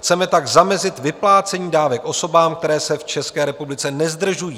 Chceme tak zamezit vyplácení dávek osobám, které se v České republice nezdržují.